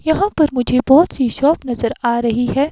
यहाँ पर मुझे बहुत सी शॉप नजर आ रही है।